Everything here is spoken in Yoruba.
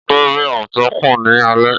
Ọdẹ rí àmọ̀tẹ́kùn ní alẹ́.